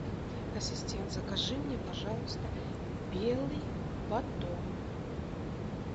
ассистент закажи мне пожалуйста белый батон